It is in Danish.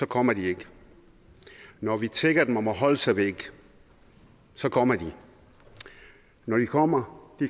kommer de ikke når vi tigger dem om at holde sig væk så kommer de når de kommer